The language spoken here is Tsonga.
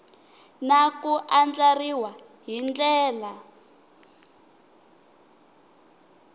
na ku andlariwa hi ndlela